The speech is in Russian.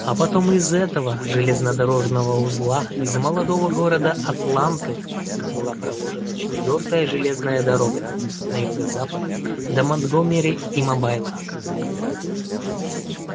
а потом из этого железнодорожного узла из молодого города атланты была проложена четвёртая железная дорога на юго-запад до монтгомери и мобайла